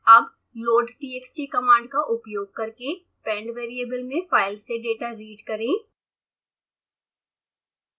अब loadtxt command का उपयोग करके pend वेरिएबल में फाइल से डेटा रीड करें